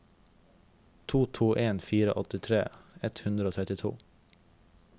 to to en fire åttitre ett hundre og trettito